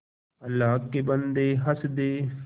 अल्लाह के बन्दे हंस दे